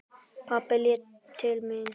Pabbi leit til mín.